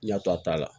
N y'a to a ta la